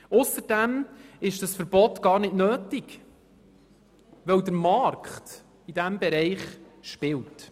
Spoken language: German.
Ausserdem ist dieses Verbot gar nicht nötig, weil der Markt in diesem Bereich spielt.